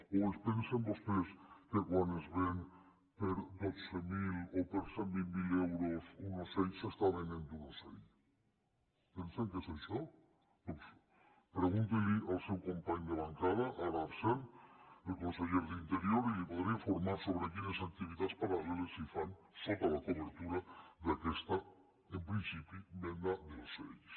o es pensen vostès que quan es ven per dotze mil o per cent i vint miler euros un ocell s’està venent un ocell pensen que és això doncs pregunti ho al seu company de bancada ara absent el conseller d’interior i el podria informar sobre quines activitats paral·leles s’hi fan sota la cobertura d’aquesta en principi venda d’ocells